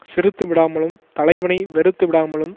சிறுத்து விடாமலும் தலைவனை வெறுத்து விடாமலும்